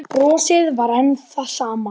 Brosið var enn það sama.